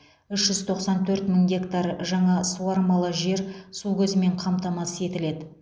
үш жүз тоқсан төрт мың гектар жаңа суармалы жер су көзімен қамтамасыз етіледі